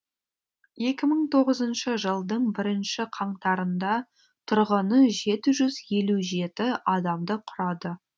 екі мың тоғызыншы жылдың бірінші қаңтарында тұрғыны жеті жүз елу жеті адамды құрады